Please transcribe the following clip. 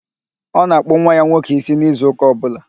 Ọ na-akpụ nwa ya nwoke ísí n'izu ụka ọbụla.